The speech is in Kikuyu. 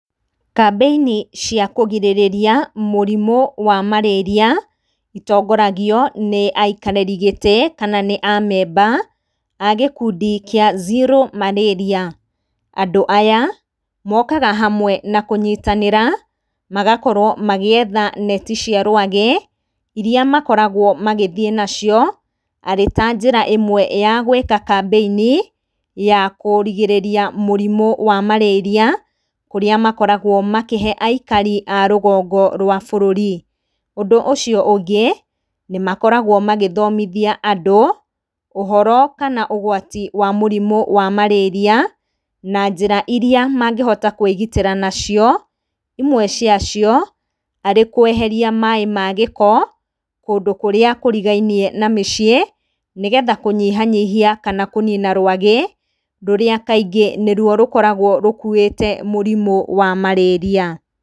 Kambĩini cia kũgirĩrĩria mũrimũ wa marĩria, itongoragio nĩ aikarĩri gĩtĩ, kana nĩ amemba agĩkundi kĩa Zero marĩria, andũ aya mokaga hamwe nakũnyitanĩra, magakorwo magĩetha neti cia rwagĩ, iria makoragwo magĩthĩ nacio, arĩ ta njĩra ĩmwe ya gwĩka kambĩini, ya kũrigĩrĩria mũrimũ wa marĩria, kũrĩa makoragwo makĩhe aikari arũgongo rwa bũrũri, ũndũ ũcio ũngĩ, nĩ makoragwo magĩthomithia andũ, ũhoro kana ũgwati wa mũrimũ wa marĩria, na njĩra iria mangĩhota kwĩgitĩra nacio, imwe ciacio, arĩ kweheria maĩ magĩko, kũndũ kũrĩa kũrigainie na maciĩ, nĩgetha kũnyihanyihia kana kũnina rwagĩ, rũrĩa kaingĩ nĩrwo rũkoragwo rũkuĩte mũrimũ wa marĩaria.